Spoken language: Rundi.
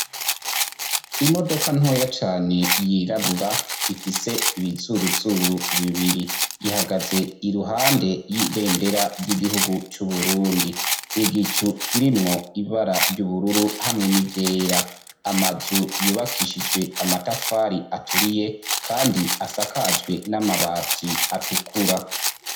Imodoka ntoya cane yirabura ifise ibizuruzuru bibiri. Ihagaze iruhande y'ibendera ry'igihugu c'Uburundi, igicu kirimwo ibara ry'ubururu hamwe n'iryera. Amazu yubakishijwe amatafari aturiye kandi asakajwe n'amabati atukura.